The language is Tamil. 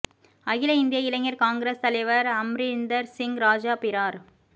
அகில இந்திய இளைஞர் காங்கிரஸ் தலைவர் அம்ரிந்தர் சிங் ராஜா பிரார்